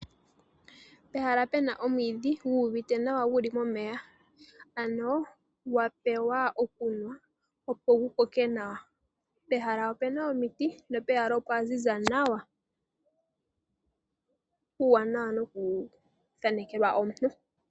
Pehala opuna omwiidhi guuvite nawa guli momeya, ano gwapewa okunwa opo gu koke nawa, pehala opuna omits, po opwaziza nawa, ano, puuwanawa no ku thaanekelwa omuntu.